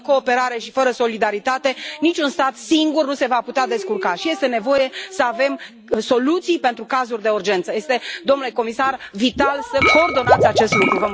Fără cooperare și fără solidaritate, niciun stat singur nu se va putea descurca și este nevoie să avem soluții pentru cazuri de urgență. Domnule comisar, este vital să coordonați acest lucru.